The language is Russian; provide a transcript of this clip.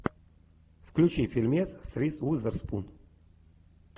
включи фильмец с риз уизерспун